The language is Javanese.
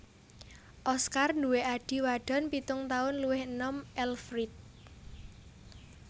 Oskar duwé adhi wadon pitung taun luwih enom Elfriede